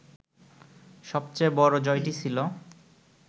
সবচেয়ে বড় জয়টি ছিল